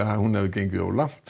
að hún hafi gengið of langt